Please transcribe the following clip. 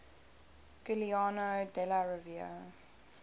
giuliano della rovere